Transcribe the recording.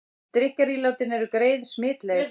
Drykkjarílátin eru greið smitleið